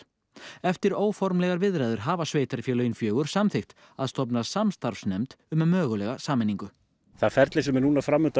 eftir óformlegar viðræður hafa sveitarfélögin fjögur samþykkt að stofna samstarfsnefnd um mögulega sameiningu það ferli sem er núna fram undan